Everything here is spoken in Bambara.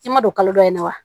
I ma don kalo dɔ in na wa